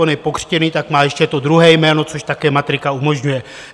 On je pokřtěný, tak má ještě to druhé jméno, což také matrika umožňuje.